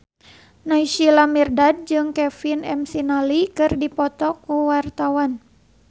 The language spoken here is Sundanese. Naysila Mirdad jeung Kevin McNally keur dipoto ku wartawan